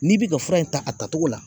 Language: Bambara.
N'i bi ka fura in ta a tatogo la